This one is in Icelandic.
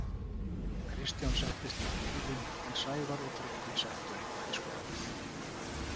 Kristján settist inn í bílinn en Sævar og Tryggvi settu eitthvað í skottið.